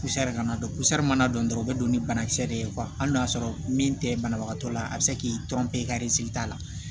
Kusa kana dɔn kusa mana don dɔrɔn u bɛ don ni banakisɛ de ye hali n'a y'a sɔrɔ min tɛ banabagatɔ la a bɛ se k'i tɔn pere ka t'a la